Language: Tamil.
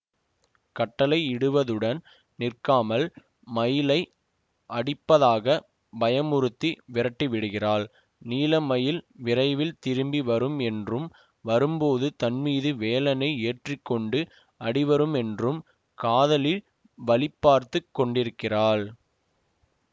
கட்டளையிடுவதுடன் நிற்காமல் மயிலை அடிப்பதாக பயமுறுத்தி விரட்டி விடுகிறாள் நீலமயில் விரைவில் திரும்பி வரும் என்றும் வரும்போது தன்மீது வேலனை ஏற்றி கொண்டு அடிவருமென்றும் காதலி வழி பார்த்து கொண்டிருக்கிறாள்